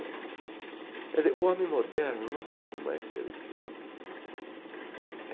Quer dizer, o homem moderno não pode mais ser esse homem.